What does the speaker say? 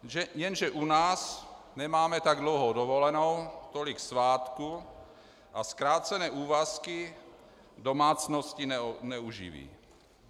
Jenže u nás nemáme tak dlouhou dovolenou, tolik svátků a zkrácené úvazky domácnosti neuživí.